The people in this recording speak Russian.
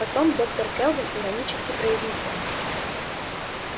потом доктор кэлвин иронически произнесла